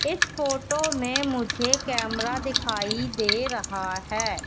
इस फोटो में मुझे कैमरा दिखाई दे रहा है।